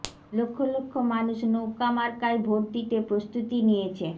লক্ষ লক্ষ মানুষ নৌকা মার্কায় ভোট দিতে প্রস্তুতি নিয়েছে